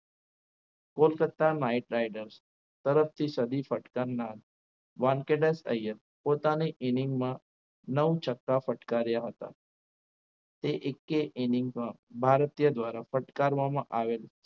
Kolkata night riders તરફથી સદી ફટકારનાર વાનખેડસ ઐયર પોતાને inning માં નવ છક્કા ફટકાર્યા હતા તે એક કે inning ભારતીય દ્વારા ફટકારવામાં આવેલ